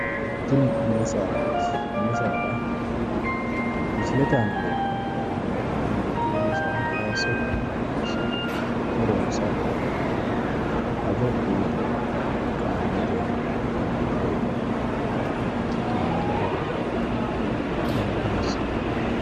tini mini saadaati misilete aana leeltanno garinni tini duume saa hayiisso ittanna leellishshanno horonsa ado xuurre qaamate buuro itate maalahonna konnira hossanno.